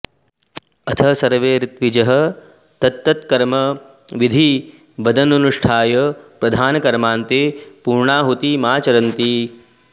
अथ सर्वे ऋत्विजः तत्तत्कर्म विधिवदनुष्ठाय प्रधान कर्मान्ते पूर्णाहुतिमाचरन्ति